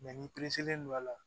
ni don a la